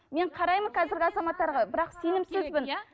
мен қараймын қазіргі азаматтарға бірақ сенімсізбін